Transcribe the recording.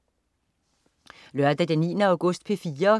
Lørdag den 9. august - P4: